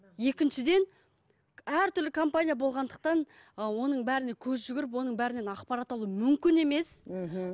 екіншіден әртүрлі компания болғандықтан ы оның бәріне көз жүгіріп оның бәрінен ақпарат алу мүмкін емес мхм